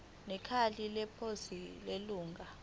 nekheli leposi lelunga